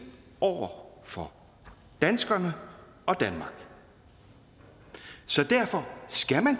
over for danskerne og danmark så derfor